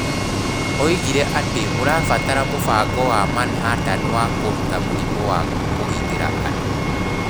Oigire atĩ nĩ tũrabatara mũbango wa Manhattan wa kũruta mũrimũ wa kũgitĩra andũ.